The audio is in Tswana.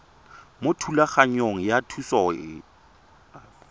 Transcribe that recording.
mo thulaganyong ya thuso y